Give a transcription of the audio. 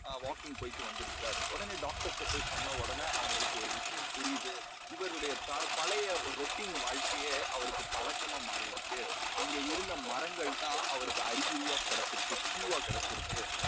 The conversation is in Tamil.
walking போயிட்டு வந்து இருக்கிறார். உடனே டாக்டர்ட்ட போய் சொன்னவுடனே அவங்களுக்கு ஒரு விஷயம் புரியுது. இவருடைய பழைய routine வாழ்க்கையே அவருக்கு பழக்கமா மாறி இருக்கு. அங்கே இருந்த மரங்கள் தான் அவருக்கு அறிகுறியாக கிடைச்சிருக்கு. Q வா கிடைச்சிருக்கு